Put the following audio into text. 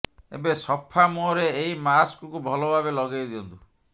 ଏବେ ସଫା ମୁହଁରେ ଏହି ମାସ୍କକୁ ଭଲଭାବେ ଲଗେଇ ଦିଅନ୍ତୁ